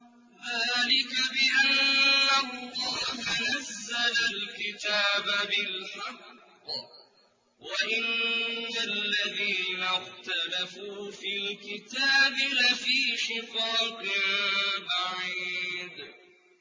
ذَٰلِكَ بِأَنَّ اللَّهَ نَزَّلَ الْكِتَابَ بِالْحَقِّ ۗ وَإِنَّ الَّذِينَ اخْتَلَفُوا فِي الْكِتَابِ لَفِي شِقَاقٍ بَعِيدٍ